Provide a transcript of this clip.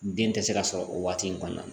Den tɛ se ka sɔrɔ o waati in kɔnɔna na